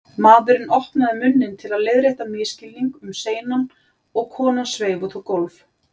Maðurinn opnaði munninn til að leiðrétta misskilning um seinan og konan sveif út á gólf.